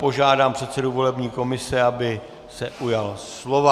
Požádám předsedu volební komise, aby se ujal slova.